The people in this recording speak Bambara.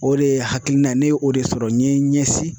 O de ye hakilina ye ne ye o de sɔrɔ n ye n ɲɛsin